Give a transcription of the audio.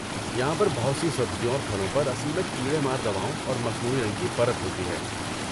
یہاں پر بہت سی سبزیوں اور پھلوں پر اصل میں کیڑے مار دواؤں اور مصنوعی رنگ کی پرت ہوتی ہے۔